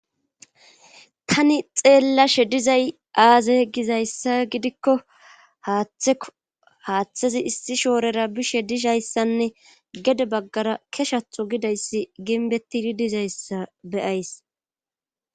Tani xeellashe dizay aaza ye gizayssa gidikko haaththeo haaththezi issi shoorera bishe dishayssanne gede baggara keshatho gidayssi ginbetidi dizayssa beyays.